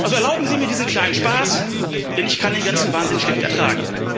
Erlauben Sie mir diesen kleinen Spaß, denn ich kann den ganzen Wahnsinn schlecht ertragen.